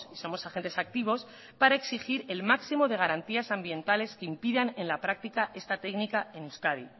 somos agentes activos para exigir el máximo de garantías ambientales que impidan en la práctica esta técnica en euskadi